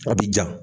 A bi ja